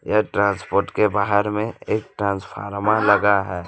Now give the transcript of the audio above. यह ट्रांसपोर्ट के बाहर में एक ट्रांसफार्मा लगा है।